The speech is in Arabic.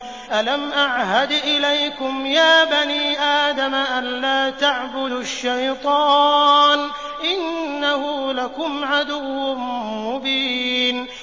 ۞ أَلَمْ أَعْهَدْ إِلَيْكُمْ يَا بَنِي آدَمَ أَن لَّا تَعْبُدُوا الشَّيْطَانَ ۖ إِنَّهُ لَكُمْ عَدُوٌّ مُّبِينٌ